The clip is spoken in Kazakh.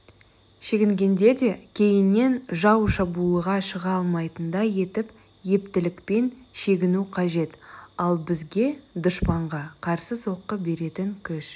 шегінгенде де кейіннен жау шабуылға шыға алмайтындай етіп ептілікпен шегіну қажет ал бізге дұшпанға қарсы соққы беретін күш